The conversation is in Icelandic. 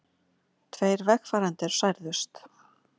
Tveir vegfarendur særðust